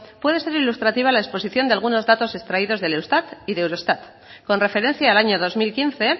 puede ser ilustrativa la exposición de algunos datos extraídos del eustat y del eurostat con referencia al año dos mil quince